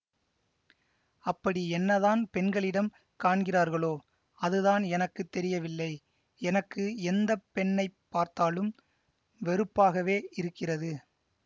அப்படி என்னதான் பெண்களிடம் காண்கிறார்களோ அதுதான் எனக்கு தெரியவில்லை எனக்கு எந்த பெண்ணை பார்த்தாலும் வெறுப்பாகவே இருக்கிறது